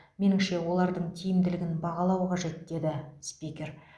меніңше олардың тиімділігін бағалау қажет деді спикер